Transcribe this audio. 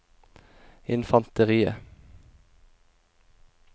infanteriet